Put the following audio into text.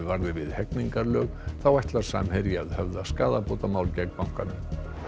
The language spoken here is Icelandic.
varði við hegningarlög þá ætlar Samherji að höfða skaðabótamál gegn bankanum